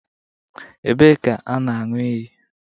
Ebee ka a na-aṅụ iyi